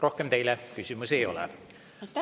Rohkem teile küsimusi ei ole.